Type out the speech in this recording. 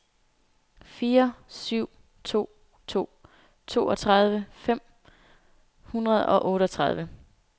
fire syv to to toogtredive fem hundrede og otteogtredive